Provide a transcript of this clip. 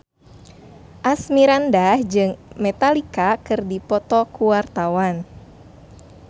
Asmirandah jeung Metallica keur dipoto ku wartawan